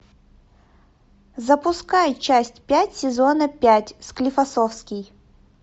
запускай часть пять сезона пять склифосовский